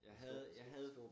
Jeg havde jeg havde